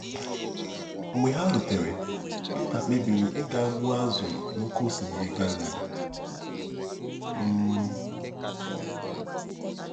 Mgbe ha rutere, Pita kpebiri ịga gbuo azụ̀ n’Oké Osimiri Galili um.